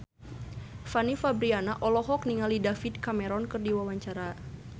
Fanny Fabriana olohok ningali David Cameron keur diwawancara